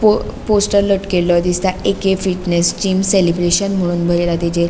पो पोस्टर लटकेल्यो दिसता ए के फिटनेस जिम सेलब्रैशन मनोन बरेला तेजेर.